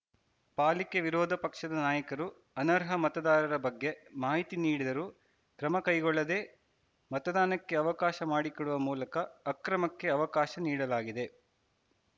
ಪಾಲಿಕೆ ವಿರೋಧ ಪಕ್ಷದ ನಾಯಕರು ಅನರ್ಹ ಮತದಾರರ ಬಗ್ಗೆ ಮಾಹಿತಿ ನೀಡಿದರೂ ಕ್ರಮ ಕೈಗೊಳ್ಳದೇ ಮತದಾನಕ್ಕೆ ಅವಕಾಶ ಮಾಡಿಕೊಡುವ ಮೂಲಕ ಅಕ್ರಮಕ್ಕೆ ಅವಕಾಶ ನೀಡಲಾಗಿದೆ